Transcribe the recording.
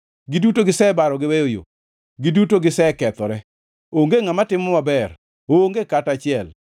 Giduto gisebaro giweyo yo; giduto gisekethore; onge ngʼama timo maber, onge kata achiel.